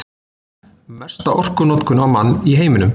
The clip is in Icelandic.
Mesta orkunotkun á mann í heiminum